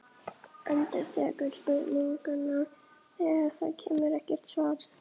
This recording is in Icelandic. Endurtekur spurninguna þegar það kemur ekkert svar.